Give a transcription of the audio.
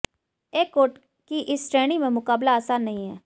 accord की इस श्रेणी में मुकाबला आसान नहीं है